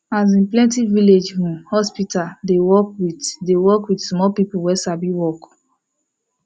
asin plenti village hmm hospital dey work with dey work with small people wey sabi work